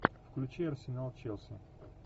включи арсенал челси